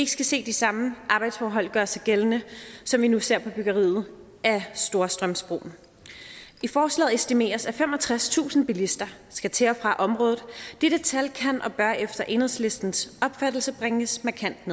skal se de samme arbejdsforhold gøre sig gældende som vi nu ser på byggeriet af storstrømsbroen i forslaget estimeres at femogtredstusind bilister skal til og fra området dette tal kan og bør efter enhedslistens opfattelse bringes markant